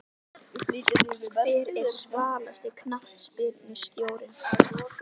Hver er svalasti knattspyrnustjórinn?